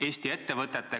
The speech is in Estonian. Vabandust, proua minister!